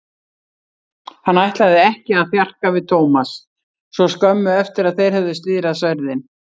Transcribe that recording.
Hann ætlaði ekki að þjarka við Thomas svo skömmu eftir að þeir höfðu slíðrað sverðin.